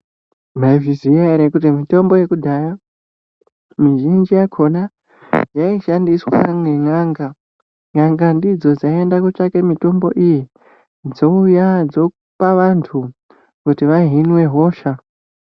Maizviziva here kuti mitombo yekudhaya mizhinji yakona yaishandiswa ngen'anga, n'anga ndidzo dzaiemda kotsvake mitombo iyi dzouya dzopa vantu kuti vahinwe hosha.